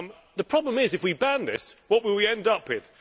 The problem is that, if we ban this, what will we end up with?